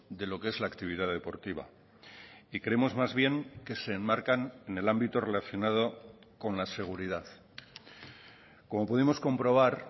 de lo que es la actividad deportiva y creemos más bien que se enmarcan en el ámbito relacionado con la seguridad como pudimos comprobar